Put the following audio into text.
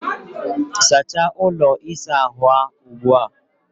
Sachaa ụlọ ịsa ahụ ugbu a!